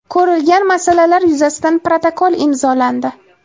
Ko‘rilgan masalalar yuzasidan protokol imzolandi.